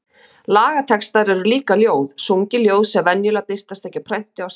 Lagatextar eru líka ljóð, sungin ljóð sem venjulega birtast ekki á prenti á sama hátt.